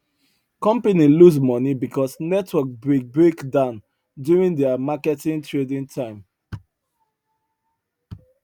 company lose money because network break break down during their market trading time